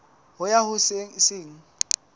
ho ya ho se seng